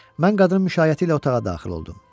Mən qadının müşayiəti ilə otağa daxil oldum.